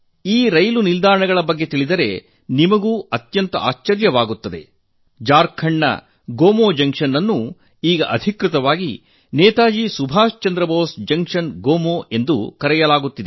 ಈ ರೈಲು ನಿಲ್ದಾಣಗಳ ಬಗ್ಗೆ ತಿಳಿದರೆ ನಿಮಗೂ ಸಹ ಆಶ್ಚರ್ಯವಾಗಬಹುದು ಜಾರ್ಖಂಡ್ನ ಗೋಮೋ ಜಂಕ್ಷನ್ ಅನ್ನು ಈಗ ಅಧಿಕೃತವಾಗಿ ನೇತಾಜಿ ಸುಭಾಸ್ ಚಂದ್ರ ಬೋಸ್ ಜಂಕ್ಷನ್ ಗೋಮೋ ಎಂದು ಕರೆಯಲಾಗುತ್ತದೆ